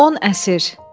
10 əsr.